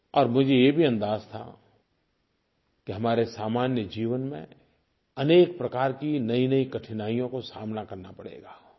और मुझे ये भी अंदाज़ था कि हमारे सामान्य जीवन में अनेक प्रकार की नयीनयी कठिनाइयों का सामना करना पड़ेगा